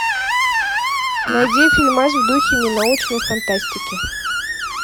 найди фильмас в духе ненаучной фантастики